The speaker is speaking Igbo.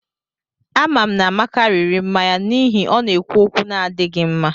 Amam na Amaka riri mmanya n'ihi o na-ekwu okwu n'adighi nma